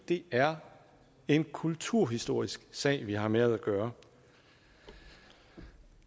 det er en kulturhistorisk sag vi har med at gøre i